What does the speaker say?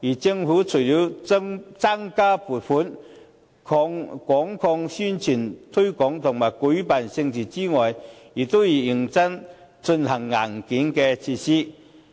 政府除了增加撥款、廣作宣傳、推廣和舉辦盛事之外，亦要認真進行硬件設施。